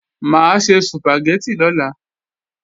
Mà á se Sùpàgẹ́tì lọ́la